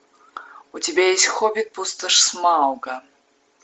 у тебя есть хоббит пустошь смауга